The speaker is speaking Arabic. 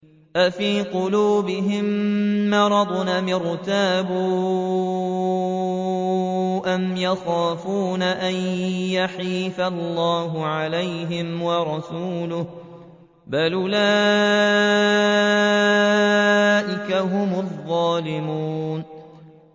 أَفِي قُلُوبِهِم مَّرَضٌ أَمِ ارْتَابُوا أَمْ يَخَافُونَ أَن يَحِيفَ اللَّهُ عَلَيْهِمْ وَرَسُولُهُ ۚ بَلْ أُولَٰئِكَ هُمُ الظَّالِمُونَ